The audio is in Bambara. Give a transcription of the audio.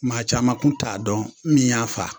Maa caman kun t'a dɔn min y'a fa.